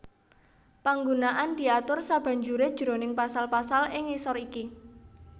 Panggunaan diatur sabanjuré jroning pasal pasal ing ngisor iki